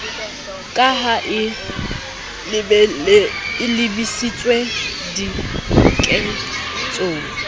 ka ha e lebisitswe diketsong